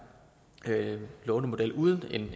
lånemodel uden